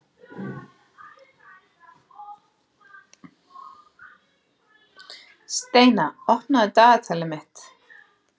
Steina, opnaðu dagatalið mitt.